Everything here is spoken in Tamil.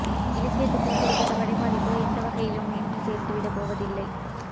இலக்கியத்துக்கோ குறிப்பிட்ட படைப்பாளிக்கோ அவை எந்த வகையிலும் மேன்மை சேர்த்து விடப்போவது இல்லை